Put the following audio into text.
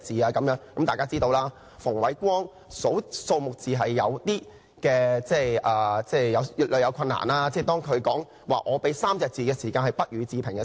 大家都知道，馮煒光算數字有困難，例如他曾說："只回答3個字：不予置評"。